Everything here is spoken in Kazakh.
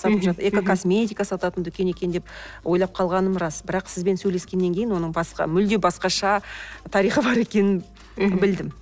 экокосметика сататын дүкен екен деп ойлап қалғаным рас бірақ сізбен сөйлескеннен кейін оның басқа мүлде басқаша тарихы бар екенін білдім